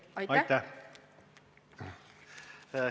Aitäh!